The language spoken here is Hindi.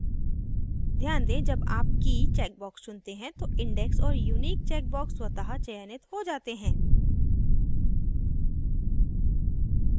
ध्यान दें जब आप key check box चुनते हैं तो index और unique check box स्वतः चयनित हो जाते हैं